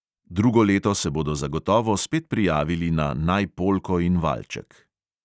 Drugo leto se bodo zagotovo spet prijavili na naj polko in valček.